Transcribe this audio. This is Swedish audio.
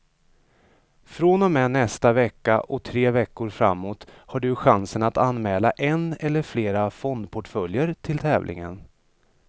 Från och med nästa vecka och tre veckor framåt har du chansen att anmäla en eller flera fondportföljer till tävlingen.